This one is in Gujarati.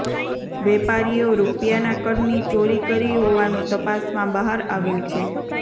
વેપારીઓ રૂપિયાના કરની ચોરી કરી હોવાનું તપાસમાં બહાર આવ્યુ છે